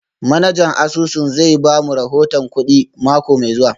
Manajan asusun zai ba mu rahoton kudi mako mai zuwa